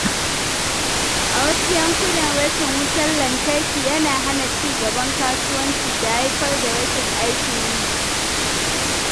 A wasu yankunan, rashin wutar lantarki yana hana ci gaban kasuwanci da haifar da rashin aikin yi.